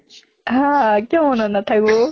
হা কিয় মনত নাথাকিব